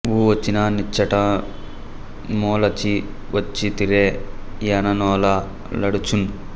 ఉ వచ్చిన నిచ్చట న్మొలచి వచ్చితిరే యన నోల లాడుచున్